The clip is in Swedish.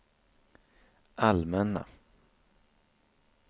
allmänna